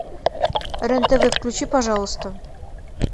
рен тв включи пожалуйста